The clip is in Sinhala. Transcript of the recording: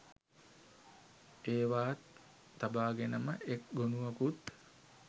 ඒවාත් තබාගෙනම එක් ගොනුවකුත්